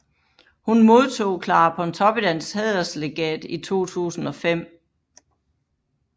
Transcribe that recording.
Hun modtog Clara Pontoppidans Hæderslegat i 2005